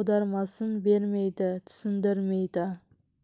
аудармасын бермейді түсіндірмейді